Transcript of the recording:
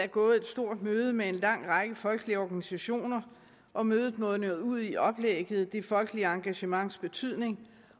er gået et stort møde med en lang række folkelige organisationer og mødet mundene ud i oplægget det folkelige engagements betydning